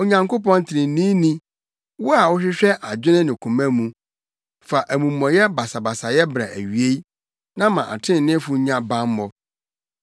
Onyankopɔn treneeni, wo a wohwehwɛ adwene ne koma mu, fa amumɔyɛfo basabasayɛ bra awiei na ma atreneefo nnya bammɔ.